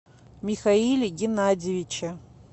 михаиле геннадьевиче